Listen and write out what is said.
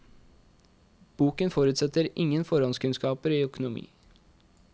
Boken forutsetter ingen forhåndskunnskaper i økonomi.